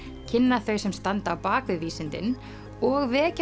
kynna þau sem standa á bak við vísindin og vekja